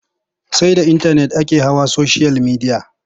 Sai da intanet ake hawa soshiyal midiya.